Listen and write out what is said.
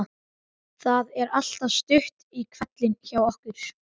Það er alltaf stutt í hvellinn hjá okkur.